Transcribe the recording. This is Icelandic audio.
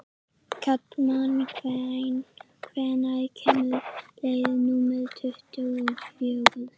Kalman, hvenær kemur leið númer tuttugu og fjögur?